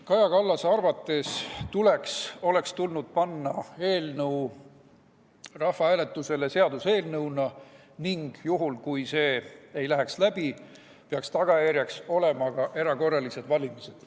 Kaja Kallase arvates oleks tulnud panna küsimus rahvahääletusele seaduseelnõuna ning juhul, kui see ei läheks läbi, peaks tagajärjeks olema ka erakorralised valimised.